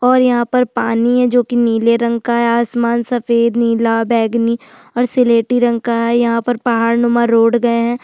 और यहाँ पर पानी है जो की नीले रंग का है आसमान सफ़ेद नीला बैगनी और सिलेटी रंग का है यहाँ पर पहाड़रुमा रोड गया है।